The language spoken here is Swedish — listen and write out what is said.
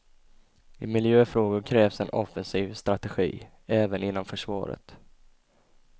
I miljöfrågor krävs en offensiv strategi, även inom försvaret.